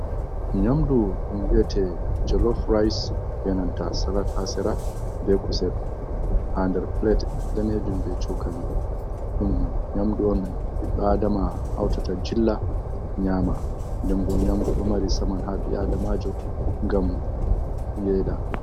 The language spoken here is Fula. Nyamɗu don vi'ete jalof rais be nanta salat ha sira be kusel ha nɗar pilet ɗanejum ba shokali. Ɗen bo nyamɗu on biɗɗo aɗama hautata jilla nyama. Ɗimbo nyamɗu ɗo mari saman habi'aɗamajo gam yeɗa.